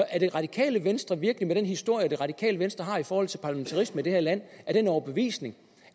er det radikale venstre virkelig med den historie det radikale venstre har i forhold til parlamentarismen i det her land af den overbevisning